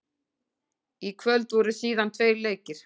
Í kvöld voru síðan tveir leikir.